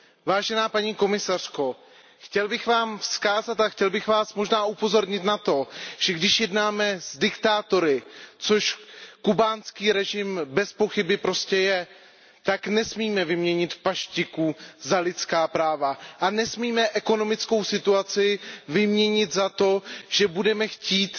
Vážená paní komisařko, chtěl bych vám vzkázat a chtěl bych vás možná upozornit na to, že když jednáme s diktátory, což kubánský režim bezpochyby prostě je, tak nesmíme vyměnit paštiku za lidská práva a nesmíme ekonomickou situaci vyměnit za to, že budeme chtít,